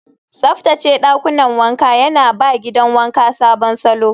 Tsaftace ɗakunan wanka yana ba gidan wanka sabon salo.